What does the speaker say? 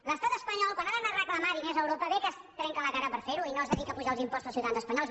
l’estat espanyol quan ha d’anar a reclamar diners a europa bé que es trenca la cara per fer ho i no es dedica a pujar els imposts als ciutadans espanyols